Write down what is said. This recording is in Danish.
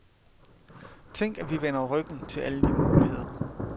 Tænk at vi vender ryggen til alle de muligheder.